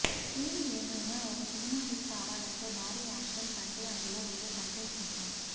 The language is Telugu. ఏది ఏమైనా ఒక సినిమా హిట్ కావాలంటే భారీ యాక్షన్ కంటే అందులో ఉండే కంటెంట్ ముఖ్యం